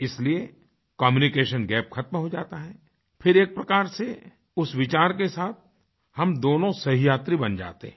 इसीलिए communication gap खत्म हो जाता है फिर एक प्रकार से उस विचार के साथ हम दोनों सहयात्री बन जाते हैं